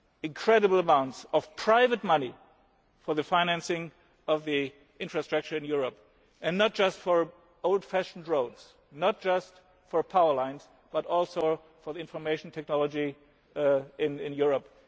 together, because we definitely need incredible amounts of private money for the financing of the interest structure in Europe, and not just for old fashioned roads, not just for power lines but also for